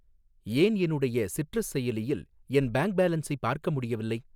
ஏன் என்னுடைய சிட்ரஸ் செயலியில் என் பேங்க் பேலன்ஸை பார்க்க முடியவில்லை?